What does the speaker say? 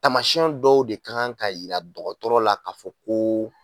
Taamasiyɛn dɔw de kan ka jira dɔgɔtɔrɔ la k'a fɔ ko